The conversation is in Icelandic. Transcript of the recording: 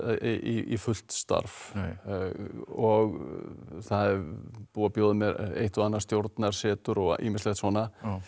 í fullt starf og það er búið að bjóða mér eitt og annað stjórnarsetur og ýmislegt svona